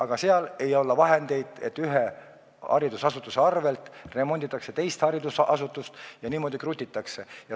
Aga seal ei ole vahendeid, ühe haridusasutuse arvel remonditakse teist haridusasutust ja niimoodi krutitakse.